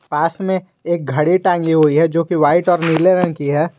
पास में एक घड़ी टांगी हुई है जो कि व्हाइट और नीले रंग की है।